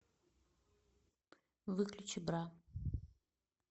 выключи бра